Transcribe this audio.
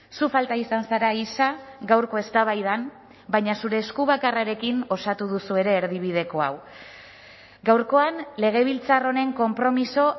zu falta izan zara isa gaurko eztabaidan baina zure esku bakarrarekin osatu duzue ere erdibideko hau gaurkoan legebiltzar honen konpromiso